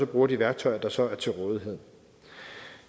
bruger de værktøjer der så er til rådighed